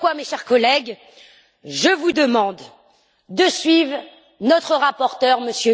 C'est pourquoi, mes chers collègues, je vous demande de suivre notre rapporteur, M.